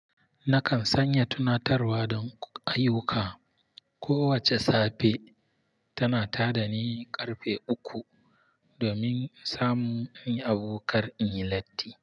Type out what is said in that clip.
Nakan sanya tunatarwa don ayyuka. Kowace safe tana ta da ni ƙarfe uku domin samun hanya kar inyi latti.